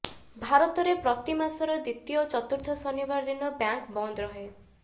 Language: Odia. ଭାରତରେ ପ୍ରତି ମାସର ଦ୍ୱିତୀୟ ଓ ଚତୁର୍ଥ ଶନିବାର ଦିନ ବ୍ୟାଙ୍କ ବନ୍ଦ ରହେ